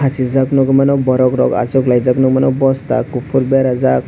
asijak nogoi mano borok rok asok lai jak nogoi mano nosta kopor berajak.